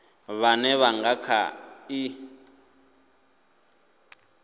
vhone vha nga kha ḓi